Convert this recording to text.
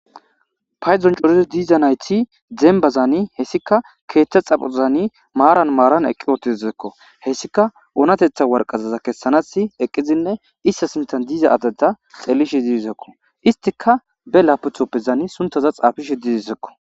paydon corizo diiza nayti dembazaani hessika keeththa xaphozani maaran maaran eqqi ootizekko hessika oonatetha warqazaza kessanasi eqqidinne issa simtan diiza adeda xelishi didisekko istika be laputhoppezani suntaza xaafishe dizisekko